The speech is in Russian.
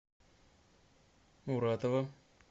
муратова